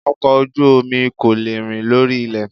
Ọkọ̀ ojú omi kò lè rìn lórí ilẹ̀